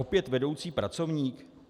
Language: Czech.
Opět vedoucí pracovník?